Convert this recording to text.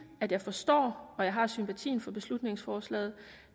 at jeg forstår og har sympati for beslutningsforslaget